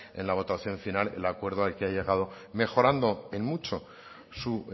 en la votación final el acuerdo al que ha llegado mejorando en mucho su